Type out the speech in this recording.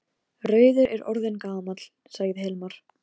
Úddi, hvernig er veðrið á morgun?